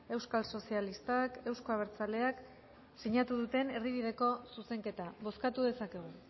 euskal sozialistak euzko abertzaleak sinatu duten erdibideko zuzenketa bozkatu dezakegu